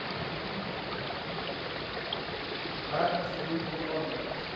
merk asseblief hieronder